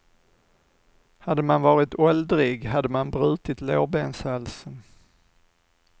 Hade man varit åldrig hade man brutit lårbenshalsen.